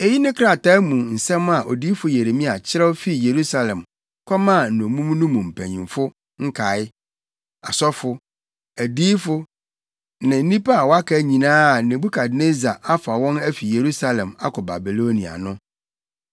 Eyi ne krataa mu nsɛm a odiyifo Yeremia kyerɛw fii Yerusalem kɔmaa nnommum no mu mpanyimfo nkae, asɔfo, adiyifo ne nnipa a wɔaka nyinaa a Nebukadnessar afa wɔn afi Yerusalem akɔ Babilonia no.